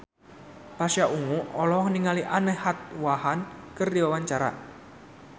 Pasha Ungu olohok ningali Anne Hathaway keur diwawancara